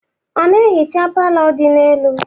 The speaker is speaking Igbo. Ọ na-ehicha palọ dị n'elu?